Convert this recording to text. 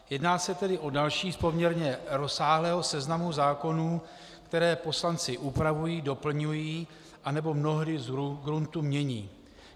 Jedná se tedy o další z poměrně rozsáhlého seznamu zákonů, které poslanci upravují, doplňují nebo mnohdy z gruntu mění.